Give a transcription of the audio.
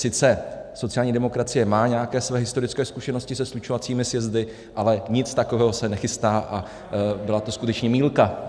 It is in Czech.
Sice sociální demokracie má nějaké své historické zkušenosti se slučovacími sjezdy, ale nic takového se nechystá a byla to skutečně mýlka.